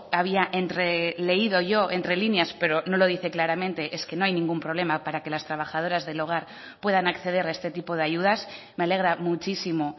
había entreleído yo entre líneas pero no lo dice claramente es que no hay ningún problema para que las trabajadoras del hogar puedan acceder a este tipo de ayudas me alegra muchísimo